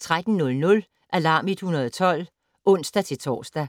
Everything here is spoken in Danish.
13:00: Alarm 112 (ons-tor)